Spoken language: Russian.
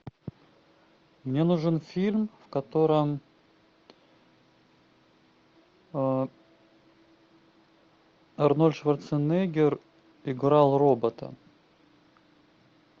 мне нужен фильм в котором арнольд шварценеггер играл робота